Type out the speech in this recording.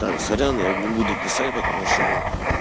так сорян я не буду писать потому что ну